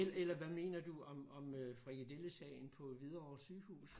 Eller hvad mener du om frikadellesagen på Hvidovre sygehus